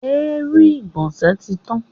Èérún ìgbọ̀nsẹ̀ tí tán.